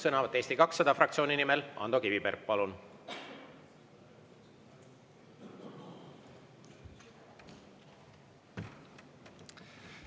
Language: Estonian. Sõnavõtt Eesti 200 fraktsiooni nimel, Ando Kiviberg, palun!